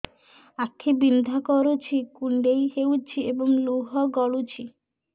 ଆଖି ବିନ୍ଧା କରୁଛି କୁଣ୍ଡେଇ ହେଉଛି ଏବଂ ଲୁହ ଗଳୁଛି